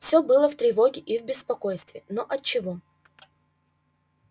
всё было в тревоге и в беспокойстве но отчего